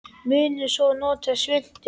Munum svo að nota svuntu.